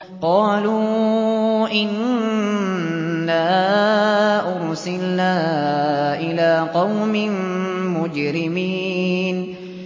قَالُوا إِنَّا أُرْسِلْنَا إِلَىٰ قَوْمٍ مُّجْرِمِينَ